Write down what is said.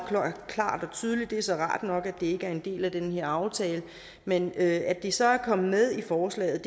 klart og tydeligt det er så rart nok at ikke er en del af den her aftale men at det så er kommet med i forslaget